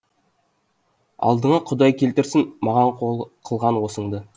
алдыңа құдай келтірсін маған қылған осыңды